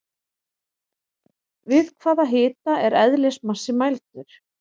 Við hvaða hita er eðlismassi mældur?